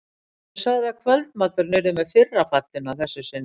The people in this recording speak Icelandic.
Og sagði að kvöldmaturinn yrði með fyrra fallinu að þessu sinni.